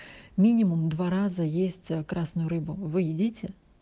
минимум два раза есть красную рыбу вы едите